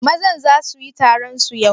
Mazan za su yi taron su yau?